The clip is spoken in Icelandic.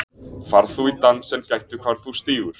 Far þú í dans en gættu hvar þú stígur.